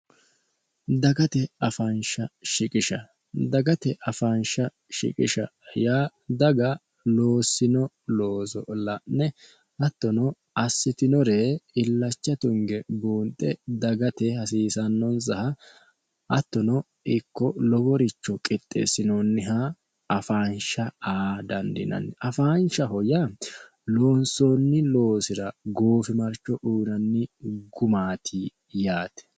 dagate faansh shiqish dagate afaansha shiqisha yaa daga loossino looso la'ne attono assitinore illacha tunge buunxe dagate hasiisannonsaha attono ikko loworicho qixxeessinoonniha afaansha aa dandinanni afaanshaho yaa loonsoonni loosira goofimarcho uuranni gumaati yaate